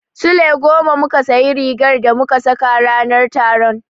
Sule goma muka sayi rigar da muka saka ranar taron.